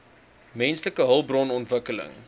menslike hulpbron ontwikkeling